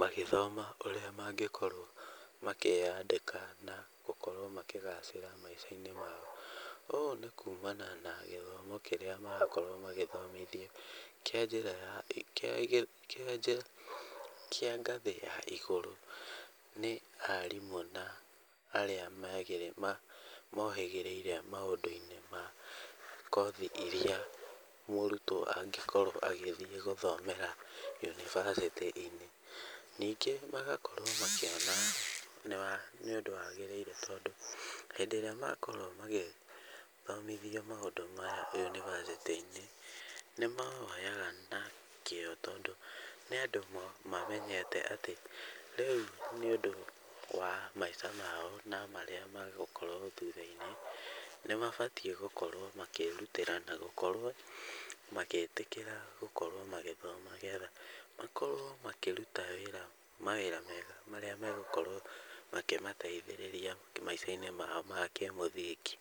magĩthoma ũrĩa mangĩkorwo makĩandĩka na gũkorwo makĩgacĩra maica-inĩ mao. Ũũ nĩ kuumana na gĩthomo kĩrĩa marakorwo magĩthomithio kĩa njĩra ya, kĩa kĩa kĩa ngathĩ ya igũrũ, nĩ arimũ na arĩa mohĩgĩrĩire maũndũ-inĩ ma kothi iria mũrutwo angĩkorwo agĩthiĩ gũthomera yũnibacĩtĩ-inĩ. Ningĩ magakorwo makĩaga nĩũndũ wagĩrĩire tondũ , hĩndĩ ĩrĩa makorwo magĩthomithio maũndũ maya yũnibacĩtĩ-inĩ, nĩmawoyaga na kĩo tondũ nĩandũ mamenyete atĩ rĩu nĩ ũndũ wa maica mao, na marĩa megũkorwo thutha-inĩ. Nĩ mabatiĩ gũkorwo makĩĩrutĩra na gũkorwo magĩtĩkĩra gũkorwo magĩthoma nĩgetha makorwo makĩruta wĩra, mawĩra mega marĩa megũkorwo makĩmateithĩrĩria maica-inĩ mao ma kĩmũthingi.